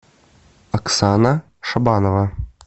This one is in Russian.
оксана шабанова